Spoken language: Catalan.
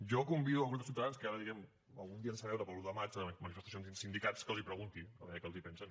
jo convido el grup de ciutadans que ara diguem ne algun dia es deixa veure per l’u de maig en manifestacions amb sindicats que els ho preguntin a veure què en pensen